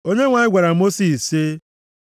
Onyenwe anyị gwara Mosis sị,